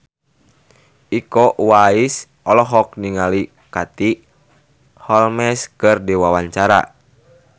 Iko Uwais olohok ningali Katie Holmes keur diwawancara